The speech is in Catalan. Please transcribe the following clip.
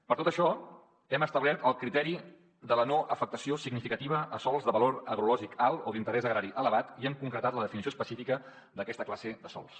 per tot això hem establert el criteri de la no afectació significativa a sòls de valor agrològic alt o d’interès agrari elevat i hem concretat la definició específica d’aquesta classe de sòls